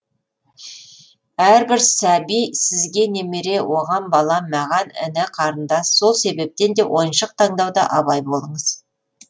әрбір сәби сізге немере оған бала маған іні қарындас сол себептен де ойыншық таңдауда абай болыңыз